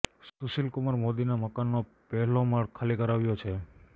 સુશીલ કુમાર મોદીના મકાનનો પહેલો માળ ખાલી કરાવ્યો છે